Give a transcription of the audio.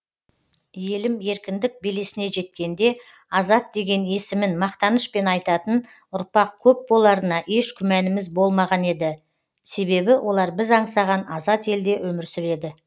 елім еркіндік белесіне жеткенде азат деген есімін мақтанышпен айтатын ұрпақ көп боларына еш күмәніміз болмаған еді себебі олар біз аңсаған азат елде өмір сүреді